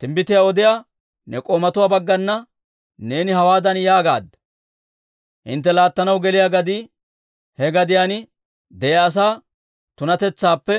Timbbitiyaa odiyaa ne k'oomatuwaa baggana neeni hawaadan yaagaadda; ‹Hintte laattanaw geliyaa gadii he gadiyaan de'iyaa asaa tunatetsaappe